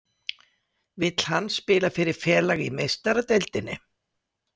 Vill hann spila fyrir félag í Meistaradeildinni?